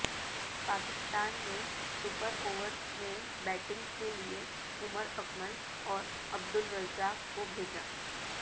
پاکستان نے super over میں batting کے لیے عمر اکمل اور عبد الرزاق کو بھیجا